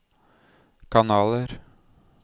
kanaler